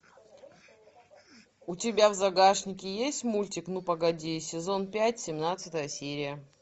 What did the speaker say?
у тебя в загашнике есть мультик ну погоди сезон пять семнадцатая серия